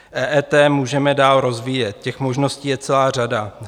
EET můžeme dál rozvíjet, těch možností je celá řada.